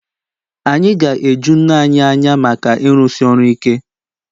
Anyị ga-eju nne anyị anya maka ịrụsi ọrụ ike